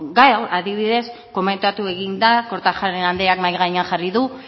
gai hau adibidez komentatu egin da kortajarena andreak mahai gainean jarri du